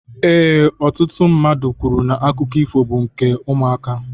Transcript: Ee, ọtụtụ ndị mmadụ kwuru na akụkọ ifo bụ maka ụmụaka.